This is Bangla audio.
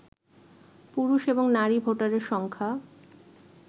পুরুষ এবং নারী ভোটারের সংখ্যা